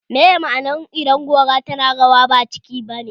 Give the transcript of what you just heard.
Meye ma'anar idan gora tana rawa ba cika ne ba?